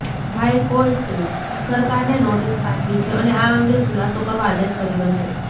હાઇકોર્ટે સરકારને નોટિસ પાઠવી છે અને આ અંગે ખુલાસો કરવા આદેશ કર્યો છે